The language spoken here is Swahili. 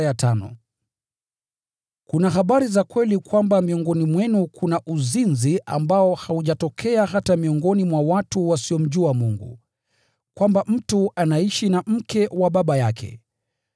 Yamkini habari imeenea ya kuwa miongoni mwenu kuna uzinzi ambao haujatokea hata miongoni mwa watu wasiomjua Mungu: Kwamba mtu anaishi na mke wa baba yake.